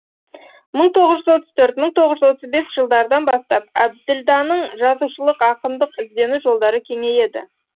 мың тоғыз жүз отыз төрт мың тоғыз жүз отыз бес жылдардан бастап әбділданың жазушылық ақындық іздену жолдары кеңейеді